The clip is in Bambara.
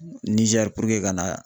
Niger ka na